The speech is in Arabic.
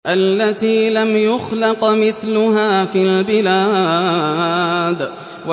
الَّتِي لَمْ يُخْلَقْ مِثْلُهَا فِي الْبِلَادِ